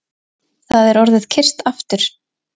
Það er orðið kyrrt aftur